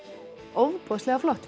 ofboðslega flott